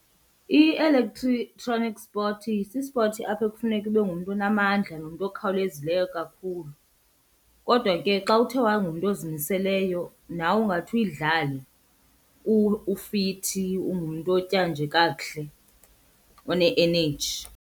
sport si-sports apho ekufuneka ube ngumntu onamandla nomntu okhawulezileyo kakhulu. Kodwa ke xa uthe wangumntu ozimiseleyo nawe ungathi uyidlale, ufithi ungumntu otya nje kakuhle one-eneji.